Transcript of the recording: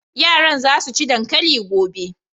Yaran za su ci dankali gobe.